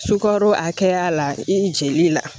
Sukaro a hakɛya la i jeli la